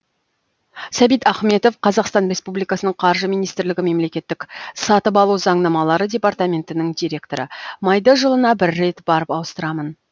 сәбит ахметов қазақстан республикасының қаржы министрлігі мемлекеттік сатып алу заңнамалары департаментінің директоры майды жылына бір рет барып ауыстырамын